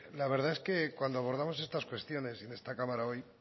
las verdad es que cuando abordamos estas cuestiones en esta cámara hoy